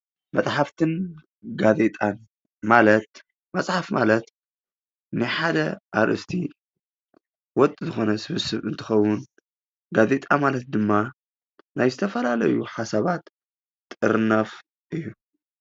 መፅሓፍትን ጋዜጣን ማለት መፅሓፍ ማለት ናይ ሓደ አርእስቲ ወጥ ዝኾነ ሰብስብ እንትኸውን ጋዜጣ ማለት ድማ ናይ ዝተፈላለዩ ሓሳባት ጥርናፍ እዩ።